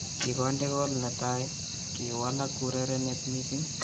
Kinkonde kool netai , kiwalaak urerenet missing